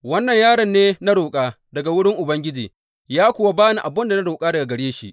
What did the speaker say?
Wannan yaron ne na roƙa daga wurin Ubangiji, ya kuwa ba ni abin da na roƙa daga gare shi.